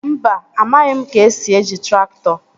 Mba, amaghị m ka-esi eji traktọ